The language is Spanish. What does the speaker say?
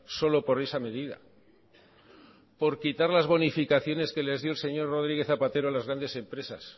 solo por esa medida por quitar las bonificaciones que les dio el señor rodríguez zapatero a las grandes empresas